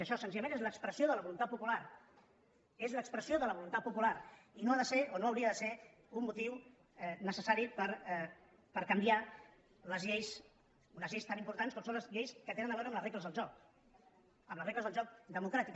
això senzillament és l’expressió de la voluntat popular és l’expressió de la voluntat popular i no ha de ser o no hauria de ser un motiu necessari per canviar unes lleis tan importants com són les lleis que tenen a veure amb les regles del joc amb les regles del joc democràtic